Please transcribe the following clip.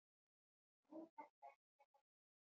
Nú þarftu ekkert að óttast.